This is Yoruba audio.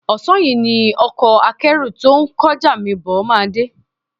Ọ̀sán yìí ni ọkọ akẹ́rù ́tó ń kó ọjà mi bọ̀ máa dé